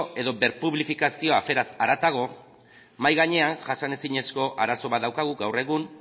edo berpublifikazioa aferaz haratago mahai gainean jasanezinezko arazo bat daukagu gaur egun